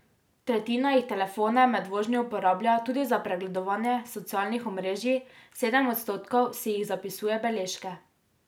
Tretjina jih telefone med vožnjo uporablja tudi za pregledovanje socialnih omrežij, sedem odstotkov si jih zapisuje beležke.